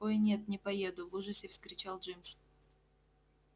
ой нет не поеду в ужасе вскричал джимс